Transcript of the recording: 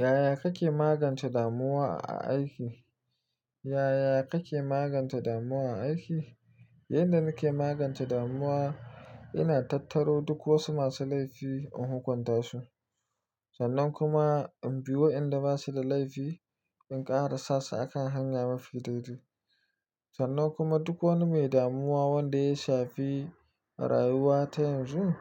Yaya kake magance damuwa a aiki? Yaya kake magance damuwa a aiki? Yanda nake magance damuwa, ina tattaro duk wasu masu laifi in hukunta su. Sannan kuma in bi wa inda basu da laifi in ƙara sasu akan hanya mafi daidai. Sannan kuma duk wani mai damuwa wanda ya shafi rayuwa ta yanzu,